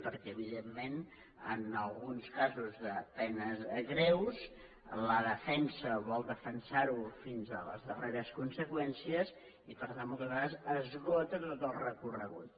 perquè evidentment en alguns casos de penes greus la defensa vol defensar ho fins a les darreres conseqüències i per tant moltes vegades esgota tot el recorregut